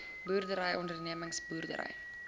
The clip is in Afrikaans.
boerdery ondernemings boerdery